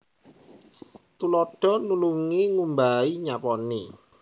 Tuladha nulungi ngumbahi nyaponi